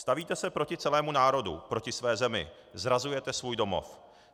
Stavíte se proti celému národu, proti své zemi, zrazujete svůj domov.